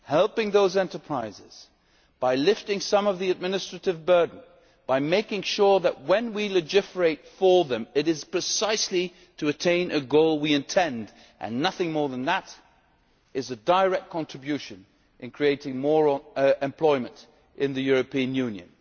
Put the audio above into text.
Helping those enterprises by lifting some of the administrative burden by making sure when we legislate for them that the legislation achieves the goal we intend and nothing more than that is a direct contribution to creating more employment in the European Union.